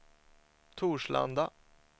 Torslanda